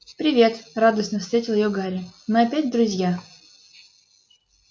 привет радостно встретил её гарри мы опять друзья